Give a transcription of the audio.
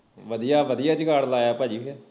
ਵਧੀਆ ਵਧੀਆ ਜੁਗਾੜ ਲਾਇਆ ਭਾਜੀ ਫਿਰ